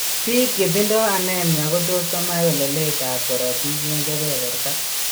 Biik chetindo anemia kotos komach weleletab korotik en keberberta.